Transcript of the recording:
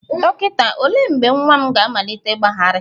Dọkịta, olee mgbe nwa m ga-amalite ịgbagharị?